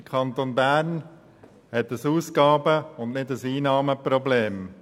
Der Kanton Bern hat ein Ausgaben- und kein Einnahmenproblem.